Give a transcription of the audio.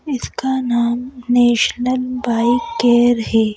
इसका नाम national bike care है।